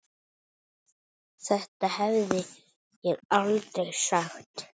Þetta hefði ég aldrei sagt.